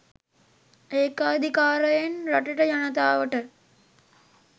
ඒකාධිකාරයෙන් රටට ජනතාවට